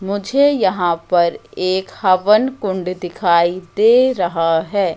मुझे यहां पर एक हवन कुंड दिखाई दे रहा है।